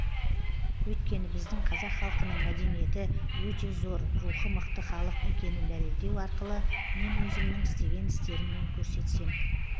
өйткені біздің қазақ халқының мәдениеті өте зор рухы мықты халық екенін дәлелдеу арқылы мен өзімнің істеген істеріммен көрсетсем